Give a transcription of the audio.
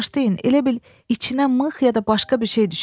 Bağışlayın, elə bil içinə mıx ya da başqa bir şey düşüb.